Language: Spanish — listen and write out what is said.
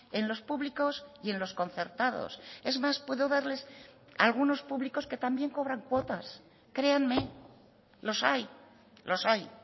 en los públicos y en los concertados es más puedo darles algunos públicos que también cobran cuotas créanme los hay los hay